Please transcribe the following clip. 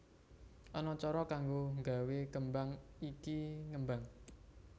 Ana cara kanggo nggawe kembang iki ngembang